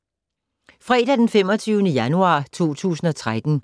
Fredag d. 25. januar 2013